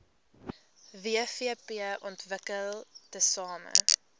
wvp ontwikkel tesame